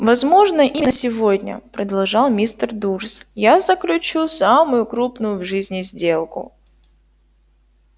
возможно именно сегодня продолжал мистер дурс я заключу самую крупную в жизни сделку